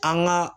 An ka